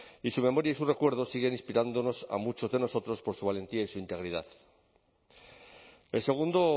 y su memoria y su recuerdo siguen inspirándonos a muchos de nosotros por su valentía y su integridad el segundo